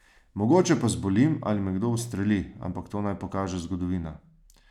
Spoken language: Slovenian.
Mogoče pa zbolim ali me kdo ustreli, ampak to naj pokaže zgodovina.